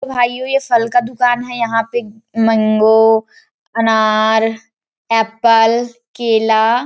भाइयो ये फल का दुकान है यहाँ पे मंगो अनार एप्पल केला--